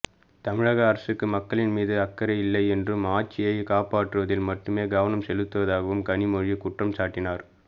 தமிழக அரசுக்கு மக்களின் மீது அக்கறை இல்லை என்றும் ஆட்சியை காப்பாற்றுவதில் மட்டுமே கவனம் செலுத்துவதாகவும் கனிமொழி குற்றம்சாட்டினார்